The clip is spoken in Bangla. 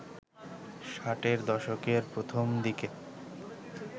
ষাটের দশকের প্রথম দিকে